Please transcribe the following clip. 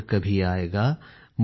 लौट कभी आएगा